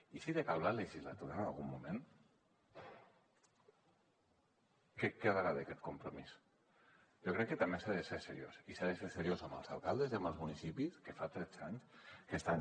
i si decau la legislatura en algun moment què en quedarà d’aquest compromís jo crec que també s’ha de ser seriós i s’ha de ser seriós amb els alcaldes i amb els municipis que fa tretze anys que estan